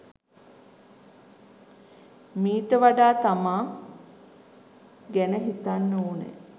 මීට වඩා තමා ගැන හිතන්න ඕනේ.